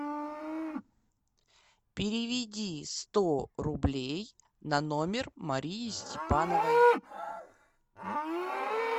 переведи сто рублей на номер марии степановой